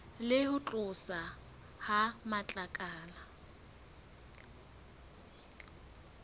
le ho tloswa ha matlakala